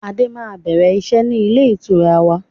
Adé máa bẹ̀rẹ̀ iṣẹ́ ni ilé ìtura wa